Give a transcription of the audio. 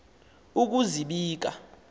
ukuzibika